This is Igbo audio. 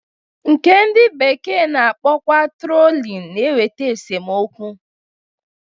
Nke ndị bekee na-akpọkwa trolin na-eweta esomokwu.